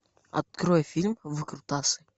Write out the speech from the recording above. открой фильм выкрутасы